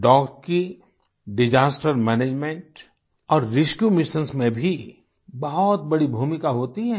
dogs की disaster management और rescue missions में भी बहुत बड़ी भूमिका होती हैं